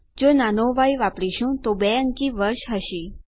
જો નાનો ય વાપરીશું તો 2 અંકી વર્ષ હશે